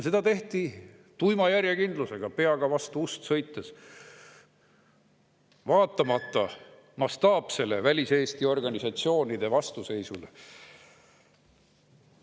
Seda tehti tuima järjekindlusega, peaga vastu ust sõites, vaatamata väliseesti organisatsioonide mastaapsele vastuseisule.